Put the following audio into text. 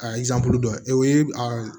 A dɔ ye o ye a